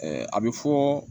a bɛ fɔ